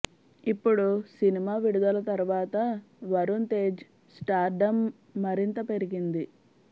ఇప్పుడు సినిమా విడుదల తర్వాత వరుణ్ తేజ్ స్టార్డం మరింత పెరిగింది